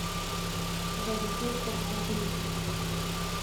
Za deset, petnajst minut.